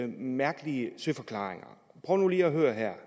mærkelige søforklaringer prøv lige at høre her